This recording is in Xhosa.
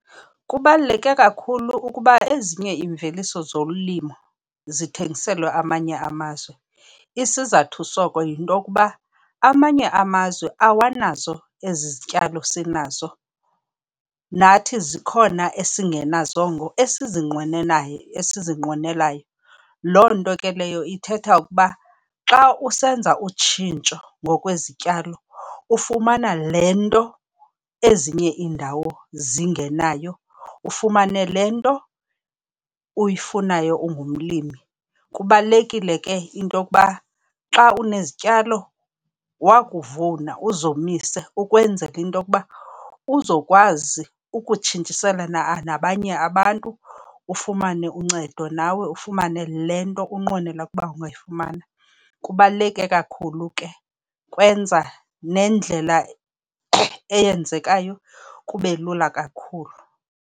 Kubaluleke kakhulu ukuba ezinye iimveliso zolimo zithengiselwa amanye amazwe. Isizathu soko yinto yokuba amanye amazwe awanazo ezi zityalo sinazo, nathi zikhona esingenazongo esizinqwenelayo. Loo nto ke leyo ithetha ukuba xa usenza utshintsho ngokwezityalo ufumana le nto ezinye iindawo zingenayo, ufumane le nto uyifunayo ungumlimi. Kubalulekile ke into yokuba xa unezityalo, wakuvuna uzomise ukwenzela into yokuba uzokwazi ukutshintshisana nabanye abantu, ufumane uncedo nawe ufumane le nto unqwenela ukuba ungayifumana. Kubaluleke kakhulu ke, kwenza nendlela eyenzekayo kube lula kakhulu.